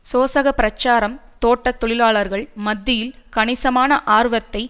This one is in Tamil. சோசக பிரச்சாரம் தோட்ட தொழிலாளர்கள் மத்தியில் கணிசமான ஆர்வத்தை